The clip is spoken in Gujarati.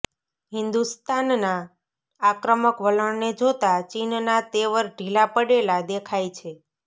હિન્દુસ્તાનના આક્રમક વલણને જોતા ચીનના તેવર ઢીલા પડેલા દેખાય છે